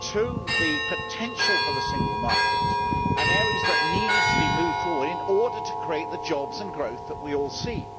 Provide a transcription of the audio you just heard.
to the potential of the single market and areas that need to be moved forward in order to create the jobs and growth that we all seek.